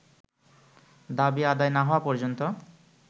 দাবি আদায় না হওয়া পর্যন্ত